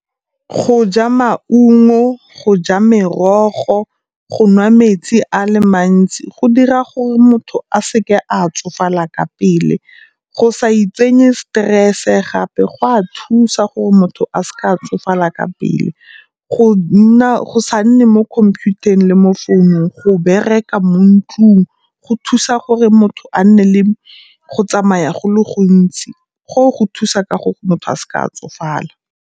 Go ja maungo, go ja merogo, go nwa metsi a le mantsi go dira gore motho a seke a tsofala ka pele. Go sa itsenye stress-e gape go a thusa gore motho a seka a tsofala ka pele. Go nna, go sa nne mo khomphutareng le mo founung, go bereka mo ntlung go thusa gore motho a nne le go tsamaya go le gontsi, goo go thusa ka go motho a seka a tsofala.